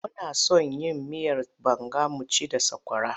Muna son yin miyar banga mu ci da sakwara.